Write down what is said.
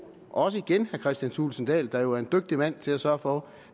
også igen af herre kristian thulesen dahl der jo er en dygtig mand til at sørge for